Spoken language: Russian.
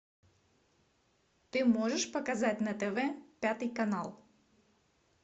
ты можешь показать на тв пятый канал